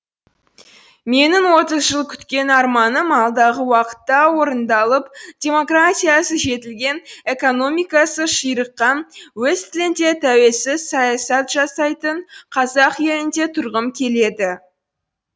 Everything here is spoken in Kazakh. менің отыз жыл күткен арманым алдағы уақытта орындалып демократиясы жетілген экономикасы ширыққан өз тілінде тәуелсіз саясат жасайтын қазақ елінде тұрғым келеді